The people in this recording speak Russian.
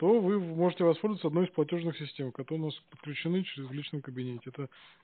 то вы можете воспользоваться одной из платёжных систем которые подключены через в личном кабинете то